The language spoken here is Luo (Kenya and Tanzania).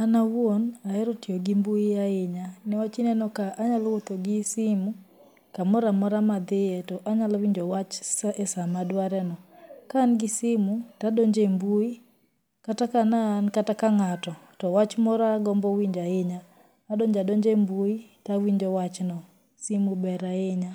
An awuon, ahero tiyo gi mbui ahinya niwach ineno ka anyalo wuotho gi simu kamoramora madhie to anyalowinjo wach e sama adware no. Ka angi simu to adonjo e mbui, kata ka ne an kata ka ng'ato to wach moro agombo winjo ahinya adonjo adonja e mbui to awinjo wachno, simu ber ahinya